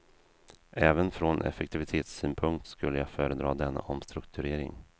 Även från effektivitetssynpunkt skulle jag föredra denna omstrukturering.